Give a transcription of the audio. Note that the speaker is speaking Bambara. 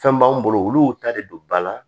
Fɛn b'an bolo olu y'u ta de don ba la